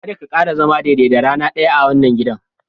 karka kara zama daidai da rana daya a wannan gidan.